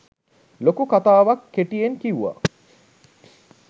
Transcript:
ලොකු කතාවක් කෙටියෙන් කිව්ව.